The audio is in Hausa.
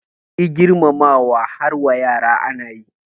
Shi girmamawa har wa yara ana yi